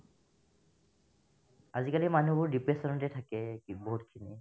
আজিকালিৰ মানুহবোৰ depression তে থাকে বহুতখিনি